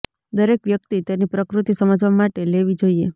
દરેક વ્યક્તિ તેની પ્રકૃતિ સમજવા માટે લેવી જોઈએ